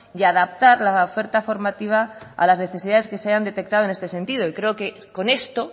y a adaptar la oferta formativa a las necesidades que se hayan detectado en este sentido y creo que con esto